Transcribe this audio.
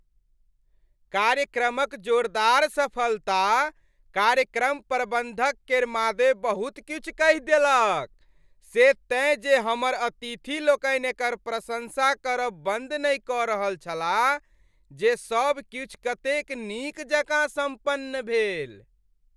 कार्यक्रमक जोरदार सफलता, कार्यक्रम प्रबंधक केर मादे बहुत किछु कहि देलक, से तेँ जे हमर अतिथि लोकनि एकर प्रशंसा करब बन्द नहि कऽ रहल छलाह जे सब किछु कतेक नीक जकाँ सम्पन्न भेल।